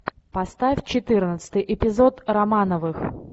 поставь четырнадцатый эпизод романовых